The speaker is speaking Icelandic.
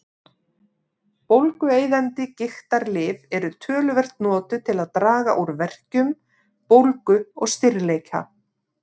Bólgueyðandi gigtarlyf eru töluvert notuð til að draga úr verkjum, bólgu og stirðleika.